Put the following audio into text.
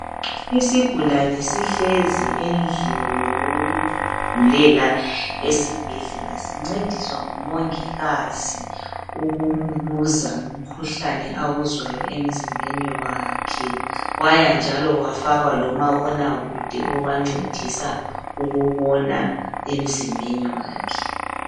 Isigulane sihlezi endlini yokugulela esibhedlela. Sincediswa ngumongikazi ukumbuza ngomkhuhlane awuzwayo emzimbeni wakhe, wayanjalo wafaka lomabonakude obancedisa ukubona emzimbeni wakhe.